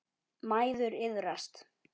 Mæður iðrast.